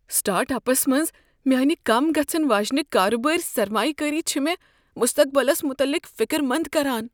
Start ups منٛز میٛانہ کم گژھن واجیٚنہ کارٕبٲرۍ سرمایہ کٲری چھےٚ مےٚ مستقبلس متعلق فکرمنٛد كران۔